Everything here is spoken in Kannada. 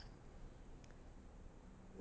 .